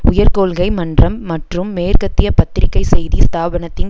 உயர் கொள்கை மன்றம் மற்றும் மேற்கத்திய பத்திரிகை செய்தி ஸ்தாபனத்தின்